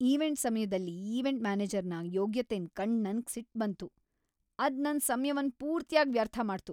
Event ಸಮ್ಯದಲ್ event ಮ್ಯಾನೇಜರ್ನ ಯೋಗ್ಯತೆನ್ ಕಂಡ್ ನಂಗ್ ಸಿಟ್ ಬಂತು, ಅದ್ ನನ್ ಸಮ್ಯವನ್ ಪೂರ್ತಿಯಾಗ್ ವ್ಯರ್ಥ ಮಾಡ್ತು.